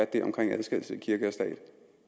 det omkring adskillelse af kirke og stat